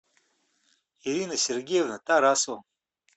ирина сергеевна тарасова